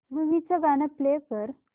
movie चं गाणं play कर